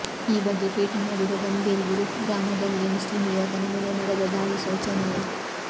ಈ ಬಗ್ಗೆ ಟ್ವೀಟ್ ಮಾಡಿರುವ ಗಂಭೀರ್ ಗುರುಗ್ರಾಮದಲ್ಲಿ ಮುಸ್ಲಿಂ ಯುವಕನ ಮೇಲೆ ನಡೆದ ದಾಳಿ ಶೋಚನೀಯ